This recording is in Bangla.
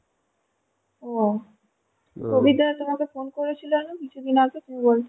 ও প্রবীরদা তোমাকে ফোন করেছিল না কিছুদিন আগে তুমি বলছিলে?